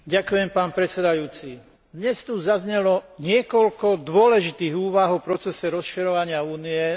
Dnes tu zaznelo niekoľko dôležitých úvah o procese rozširovania Únie na západnom Balkáne.